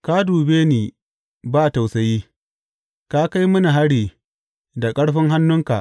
Ka dube ni ba tausayi; Ka kai mini hari da ƙarfin hannunka.